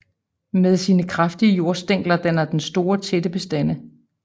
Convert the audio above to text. Med sine kraftige jordstængler danner den store tætte bestande